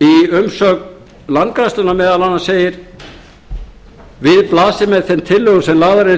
umsögn landgræðslunnar meðal annars segir að við blasi með þeim tillögum sem eru